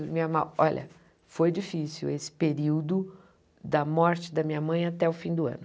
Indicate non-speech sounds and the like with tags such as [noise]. A minha, [unintelligible] olha, foi difícil esse período da morte da minha mãe até o fim do ano.